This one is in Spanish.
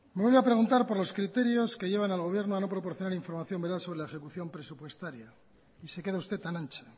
me vuelve a preguntar por lo criterios que llevan al gobierno a no proporcionar información veraz sobre la ejecución presupuestaria y se queda usted tan ancha